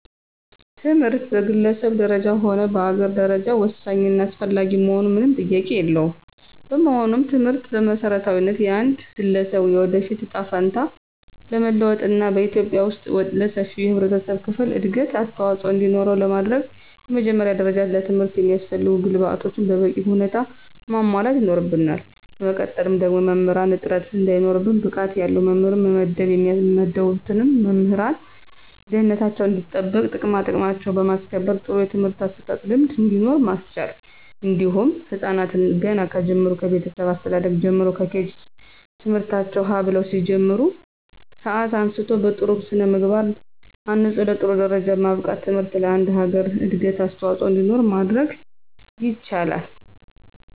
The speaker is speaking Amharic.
ትምህርት በግለሰብ ደረጃ ሆነ በአገር ደረጃ ወሳኝ እና አስፈላጊ መሆኑ ምንም ጥያቄ የለውም። በመሆኑም ትምህርትን በመሰረታዊነት የአንድ ገለሰብ የወደፊት እጣ ፈንታ ለመለወጥና በኢትዩጵያ ወስጥ ለሰፊው የህብረተሰብ ክፍል እድገት አስተዋፅኦ እንዲኖረው ለማድረግ በመጀመሪያ ደረጃ ለትምህርት የሚያስፈልጉ ግብአቶችን በበቂ ሁኔታ ማሟላት ይኖርብናል በመቀጠል ደግሞ የመምህራንን እጥረት እንዳይኖር ብቃት ያለው መምህር መመደብ የሚመደቡትን መምህራን ደህንነታቸው እንዲጠበቅና ጥቅማጥቅማቸውን በማስከበር ጥሩ የትምህርት አሰጣጥ ልምድ እንዲኖር ማስቻል እንዲሁም ህፃናትን ገና ከጅምሩ ከቤተሰብ አስተዳደግ ጀምሮ ከኬጂ ት/ቤት ትምህርታቸውን ሀ ብለው ከሚጀምሩበት ሰአት አንስቶ በጥሩ ስነምግባር አንፆ ለጥሩ ደረጃ ማብቃት ትምህርት ለአንድ ሀገር እድገት አስዋፆኦ እንዲኖር ማድረግ ይቻላል።